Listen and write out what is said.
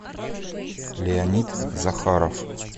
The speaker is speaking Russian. леонид захаров